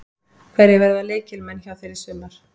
Hverjir verða lykilmenn hjá þér í sumar?